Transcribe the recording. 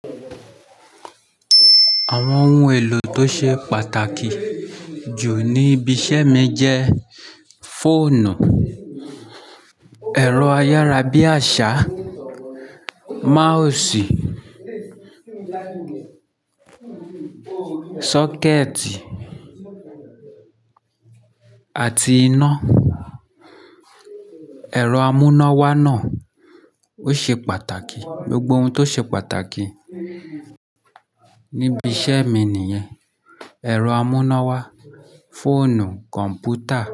Àwọn ohun èlò tó ṣe pàtàkì jù ní ibi iṣẹ́ mi jẹ́ fóònù, ẹ̀rọ ayárabíàṣá, mousì, sọ́kẹ́tì àti iná. Ẹ̀rọ amúnáwá náà ó ṣe pàtàkì. Gbogbo ohun tó ṣe pàtàkì níbi iṣẹ́ mi nìyẹn. Ẹ̀rọ amúnáwá, fóònù, kọ̀m̀pútà.